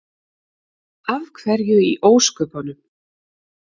Af hverju í ósköpunum?